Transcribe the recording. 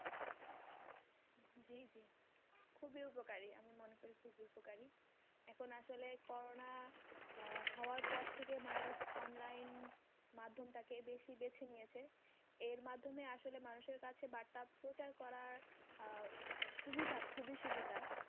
উপকারী এখন আসলে করোনা হওয়ার পর থেকে মানুষ online মাধ্যম টাকে বেশি বেছে নিয়েছে এর মাধ্যমে আসলে মানুষ এর কাছে বার্তা প্রচার করার আহ সুবিধা খুবই সুবিধা